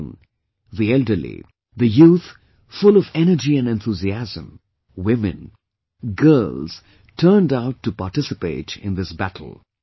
Children, the elderly, the youth full of energy and enthusiasm, women, girls turned out to participate in this battle